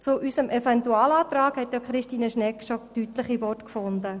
Zu unserem Eventualantrag hat Christine Schnegg bereits deutliche Worte gefunden.